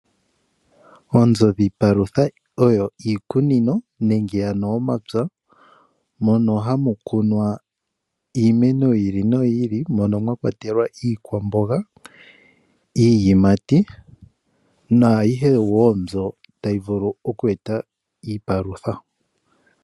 Oonzo dhiipalutha oyo iikunino nenge omapya mono hamu kunwa iimeno yi ili noyi ili mono mwa kwatelwa iikwamboga, iiyimati nayihe mbyoka tayi vulu oku eta iipalutha.